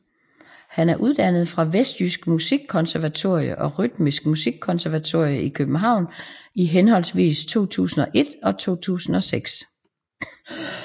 Han er uddannet fra vestjysk Musikkonservatorium og Rytmisk Musikkonservatorium i København i henholdsvis 2001 og 2006